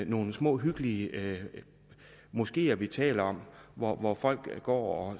nogle små hyggelige moskeer vi taler om hvor hvor folk går